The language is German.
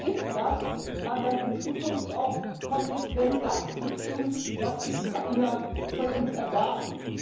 Vielleicht hilft das, dann in Zukunft auch konsequent das zu tun, was die Ukrainer von uns erwarten.